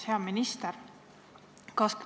Hea minister!